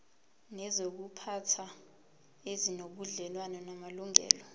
nezokuziphatha ezinobudlelwano namalungelo